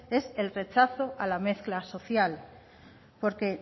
es el rechazo a la mezcla social porque